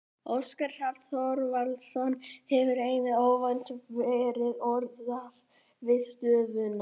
Óskar Hrafn Þorvaldsson hefur einnig óvænt verið orðaður við stöðuna.